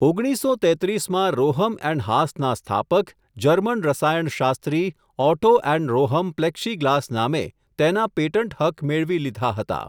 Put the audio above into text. ઓગણીસસો તેત્રીસ માં રોહમ એન્ડ હાસનાં સ્થાપક, જર્મન રસાયણશાસ્ત્રી ઓટો એન્ડ રોહમ પ્લેક્ષીગ્લાસ નામે, તેનાં પેટન્ટ હક્ક મેળવી લીધા હતા.